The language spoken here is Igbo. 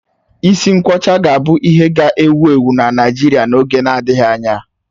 Isi nkwọcha ga-abụ ihe ga-ewu ewu na Naịjirịa n'oge adịghị anya.